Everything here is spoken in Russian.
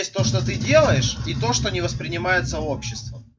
то что ты делаешь и то что не воспринимается обществом